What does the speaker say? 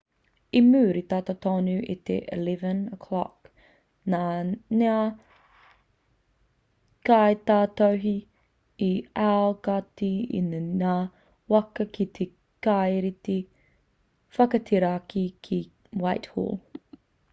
i muri tata tonu i te 11:00 nā ngā kaitautohe i aukati i ngā waka ki te kāreti whakateraki ki whitehall